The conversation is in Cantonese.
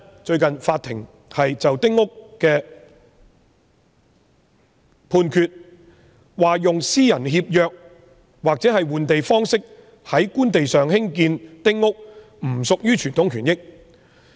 最近法庭就一宗關於丁屋的案件作判決，說用私人協約或換地方式在官地上興建丁屋不屬於傳統權益。